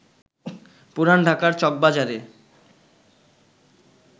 পুরান ঢাকার চকবাজারে